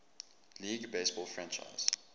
league baseball franchise